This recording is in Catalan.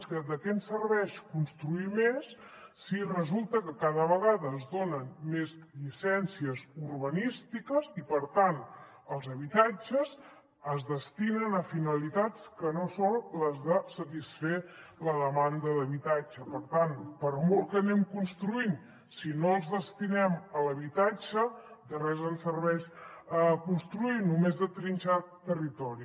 és que de què ens serveix construir més si resulta que cada vegada es donen més llicències urbanístiques i per tant els habitatges es destinen a finalitats que no són les de satisfer la demanda d’habitatge per tant per molt que anem construint si no els destinem a l’habitatge de res ens serveix construir només de trinxar territori